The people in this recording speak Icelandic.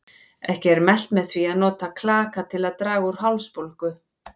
Ekki er mælt með því að nota klaka til að draga úr hálsbólgu.